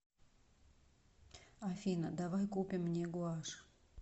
афина давай купим мне гуашь